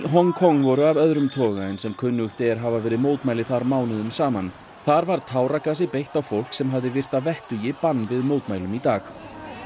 Hong Kong voru af öðrum toga en sem kunnugt er hafa verið mótmæli þar mánuðum saman þar var táragasi beitt á fólk sem hafði virt að vettugi bann við mótmælum í dag